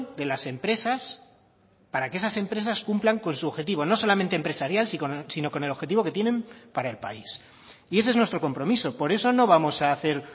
de las empresas para que esas empresas cumplan con su objetivo no solamente empresarial sino con el objetivo que tienen para el país y ese es nuestro compromiso por eso no vamos a hacer